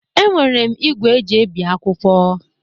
Enwere m igwe eji ebi akwụkwọ.